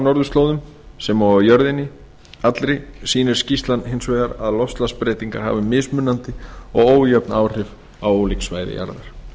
norðurslóðum sem og á jörðinni allri sýnir skýrslan hins vegar að loftslagsbreytingar hafa mismunandi og ójöfn áhrif á ólík svæði jarðar